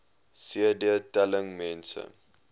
cd telling mense